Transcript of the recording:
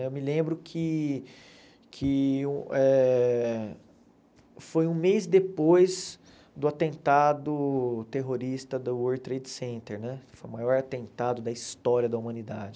Eu me lembro que que eh foi um mês depois do atentado terrorista do World Trade Center, né que foi o maior atentado da história da humanidade.